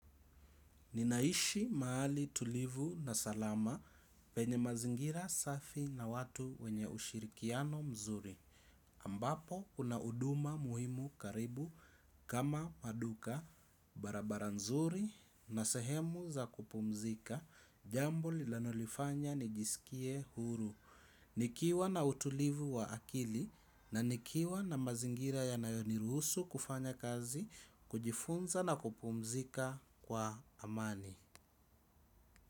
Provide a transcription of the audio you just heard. Ninaishi mahali tulivu na salama penye mazingira safi na watu wenye ushirikiano mzuri. Ambapo kuna huduma muhimu karibu kama maduka, barabara nzuri na sehemu za kupumzika, jambo linalolifanya nijisikie huru. Nikiwa na utulivu wa akili na nikiwa na mazingira yanayo niruhusu kufanya kazi, kujifunza na kupumzika kwa amani.